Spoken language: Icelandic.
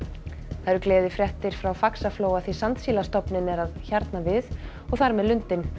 það eru gleðifréttir frá Faxaflóa því sandsílastofninn er að hjarna við og þar með lundinn